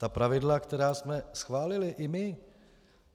Ta pravidla, která jsme schválili i my.